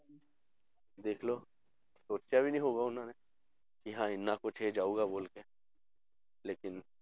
ਦੇਖ ਲਓ ਸੋਚਿਆ ਵੀ ਨੀ ਹੋਊਗਾ ਉਹਨਾਂ ਨੇ ਕਿ ਹਾਂ ਇੰਨਾ ਕੁਛ ਇਹ ਜਾਊਗਾ ਬੋਲ ਕੇ ਲੇਕਿੰਨ